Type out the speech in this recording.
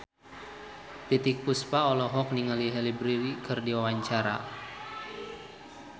Titiek Puspa olohok ningali Halle Berry keur diwawancara